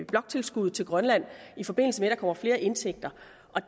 bloktilskuddet til grønland i forbindelse med at der kommer flere indtægter